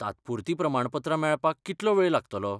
तात्पुरती प्रमाणपत्रां मेळपाक कितलो वेळ लागतलो?